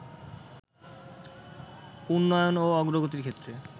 উন্নয়ন ও অগ্রগতির ক্ষেত্রে